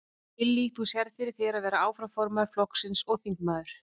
Lillý: Þú sérð fyrir þér að vera áfram formaður flokksins og þingmaður?